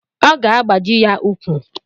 Ọ ga-agbaji ya ukwu.